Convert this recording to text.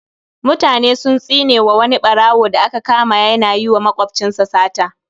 Mutane sun tsinewa wani ɓarawo da aka kama yana yiwa makwabcinsa sata